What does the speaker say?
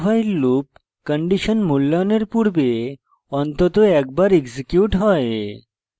dowhile loop condition মূল্যায়নের পূর্বে অন্তত একবার executes হয়